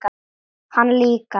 Hann líka.